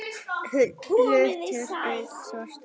Hlutur Hauks var stór.